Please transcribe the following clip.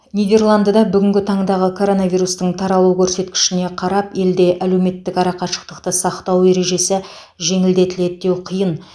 нидерландыда бүнгінгі таңдағы коронавирустың таралу көрсеткішіне қарап елде әлеуметтік арақашықтықты сақтау ережесі жеңілдетіледі деу қиын